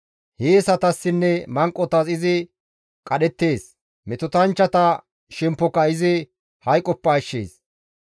Hiyeesatassinne manqotas izi qadhettees; metotanchchata shemppoka izi hayqoppe ashshees.